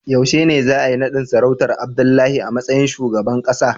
Yaushe ne za a yi nadin sarautar Abdullahi a matsayin shugaban kasa?